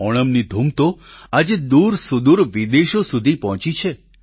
ઓણમની ધૂમ તો આજે દૂરસુદૂર વિદેશો સુધી પહોંચી છે